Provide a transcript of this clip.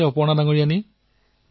প্ৰধানমন্ত্ৰীঃ মোৰ ভাল